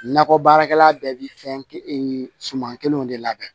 Nakɔ baarakɛla bɛɛ bɛ fɛn suman kelenw de labɛn